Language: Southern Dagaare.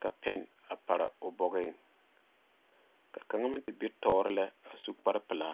ka pɛne a pare o bɔgoŋ ka kaŋa meŋ te be tuoro lɛ a su kpaare peɛle.